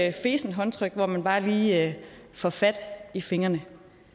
et fesent håndtryk hvor man bare lige får fat i fingrene